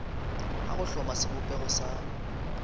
a go hloma sebopego sa